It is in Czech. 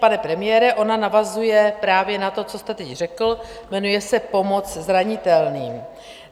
Pane premiére, ona navazuje právě na to, co jste teď řekl, jmenuje se pomoc zranitelným.